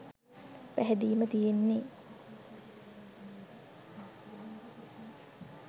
පැහැදීම තියෙන්නේ